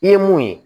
I ye mun ye